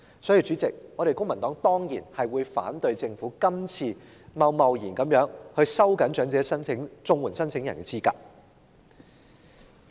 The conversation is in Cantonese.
因此，主席，公民黨當然反對政府今次貿然收緊長者綜援申請人的資格。